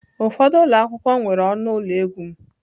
Ụfọdụ ụlọ akwụkwọ nwere ọnụ ụlọ egwu m.